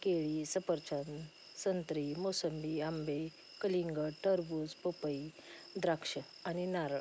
केळी सफरचंद संत्री मोसंबी आंबे कलिंगड टरबूज पपई द्राक्ष आणि नारळ --